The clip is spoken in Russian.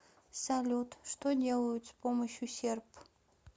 салют что делают с помощью серп